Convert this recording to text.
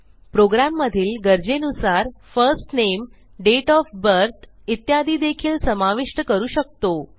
प्रोग्रॅममधील गरजेनुसार first name date of birth इत्यादी देखील समाविष्ट करू शकतो